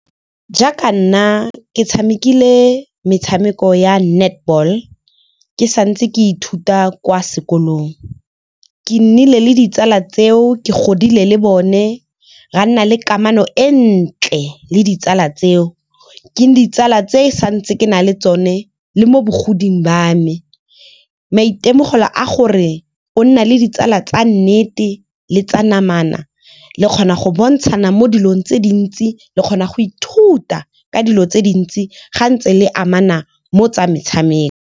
Jaaka nna ke tshamekile metshameko ya netball ke sa ntse ke ithuta kwa sekolong. Ke nnile le ditsala tseo ke godile le bone ra nna le kamano e ntle le ditsala tseo. Ke ditsala tse sa ntse ke na le tsone le mo bogodimong ba me. Maitemogelo a gore o nna le ditsala tsa nnete le tsa namana le kgona go bontshana mo dilong tse dintsi, le kgona go ithuta ka dilo tse dintsi ga ntse le amana mo tsa metshameko.